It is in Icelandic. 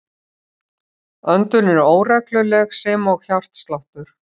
Öndun er óregluleg sem og hjartsláttur.